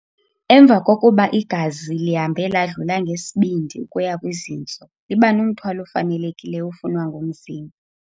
Emva kokuba igazi lihambe ladlula ngesibindi ukuya kwizintso, libanomthwalo ofanelekileyo ofunwa ngumzimba.